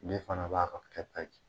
Ne fana b'a ka kɛta ji